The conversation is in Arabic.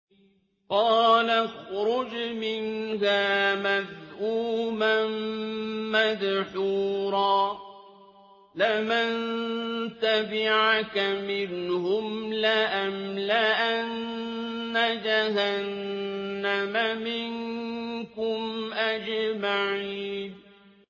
قَالَ اخْرُجْ مِنْهَا مَذْءُومًا مَّدْحُورًا ۖ لَّمَن تَبِعَكَ مِنْهُمْ لَأَمْلَأَنَّ جَهَنَّمَ مِنكُمْ أَجْمَعِينَ